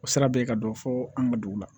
O sira bɛ yen ka dɔ fɔ an ka dugu la